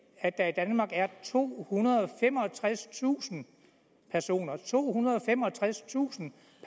at der i danmark er tohundrede og femogtredstusind personer tohundrede og femogtredstusind